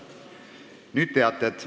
Nüüd teated.